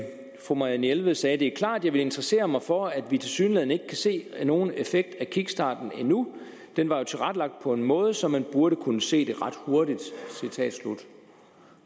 fru marianne jelved sagde det klart jeg vil interessere mig for at vi tilsyneladende ikke kan se nogen effekt af kickstarten endnu den var jo tilrettelagt på en måde så man burde kunne se det ret hurtigt